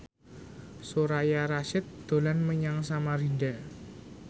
Soraya Rasyid dolan menyang Samarinda